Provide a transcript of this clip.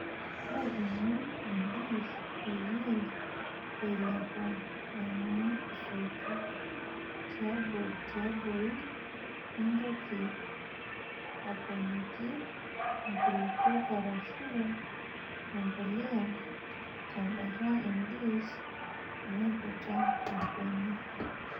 Lepunyie endish peyie eilepuu aiing'ua soitok tiabori nintoki aponiki nkulupuok arashu empuliya tembata endish omeiputa orbene.